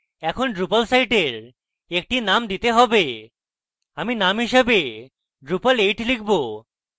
এখন drupal সাইটের একটি name দিতে have আমি name হিসাবে drupal 8 লিখব